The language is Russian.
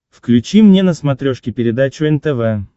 включи мне на смотрешке передачу нтв